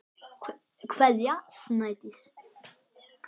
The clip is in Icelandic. Kveðja, Snædís.